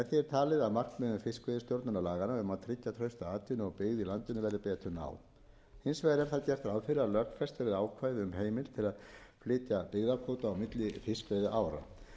að markmiðum fiskveiðistjórnarlaganna um að tryggja trausta atvinnu og byggð í landinu verði betur náð hins vegar er þar gert ráð fyrir að lögfest verði ákvæði um heimild til að flytja byggðakvóta á milli fiskveiðiára